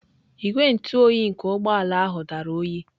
Igwe ntụ oyi nke ụgbọ ala ahụ dara oyi.